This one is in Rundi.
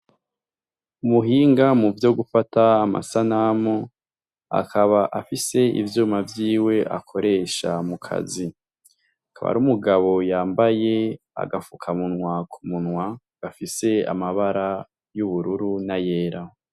Umuhinga muvyo gufata amasanamu akaba afise ivyuma vyiwe akoresha akazi. Akaba ari umugabo yambaye agapfukamunwa ku munwa gafise amabara y'ubururu n'ayera.